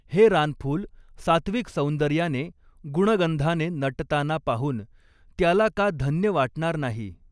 हे रानफूल सात्त्विक सौंदर्याने, गुणगंधाने नटताना पाहून त्याला का धन्य वाटणार नाही.